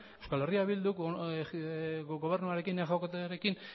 euskal herria bilduk gobernuarekin exekutiboarekin